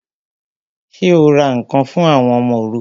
Ṣé o ra ǹkan fún àwọn ọmọ òrukàn?